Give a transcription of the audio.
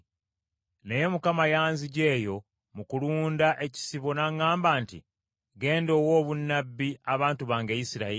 Naye Mukama yanziggya eyo mu kulunda ekisibo n’aŋŋamba nti, ‘Genda owe obunnabbi abantu bange, Isirayiri.’ ”